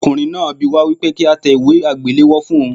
Ọkùnrin náà bi wá wípé kí á tẹ ìwé àgbéléwò fún ohun.